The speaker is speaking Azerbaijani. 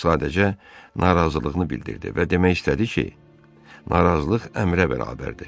O sadəcə narazılığını bildirdi və demək istədi ki, narazılıq əmrə bərabərdir.